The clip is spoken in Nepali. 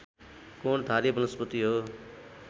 कोणधारी वनस्पति हो